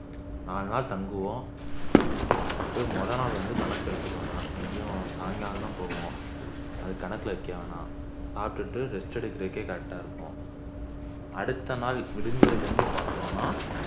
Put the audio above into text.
நாலு நாள் தங்குவோம் ஆஹ் இப்ப முதல் நாள் வந்து கணக்கு எடுத்துக்க வேணாம் எப்படியும் சாயங்காலம் தான போவோம் அத கணக்குல வைக்க வேணாம் சாப்பிட்டுட்டு rest எடுக்குறதுக்கே correct ஆ இருக்கும் அடுத்த நாள் விடிஞ்சதுல இருந்து பாத்தோம்னா